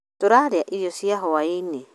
tũraria irio cia hwa-inĩ